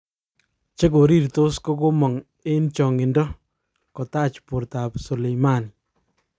Chekorirtos kokomog eng chokido kotach bortab Soleimani